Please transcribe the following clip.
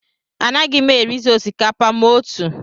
Anaghị m erizi osikapa ma otu